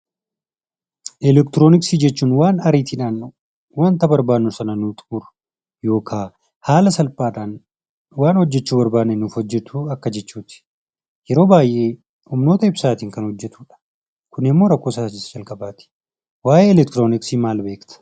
Elektirooniksii jechuun waan ariitiidhaan wanta barbaannu sana nuu xumuru yookaa haala salphaadhaan waan hojjechuu barbaanne nuuf hojjetu akka jechuu ti. Yeroo baay'ee humnoota ibsaatiin kan hojjetuu dha. Kun immoo rakkoosaa isa jalqabaati. Waayee elektirooniksii maal beekta?